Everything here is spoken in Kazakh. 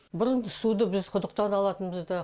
бұрын біз суды біз құдықтан алатынбыз да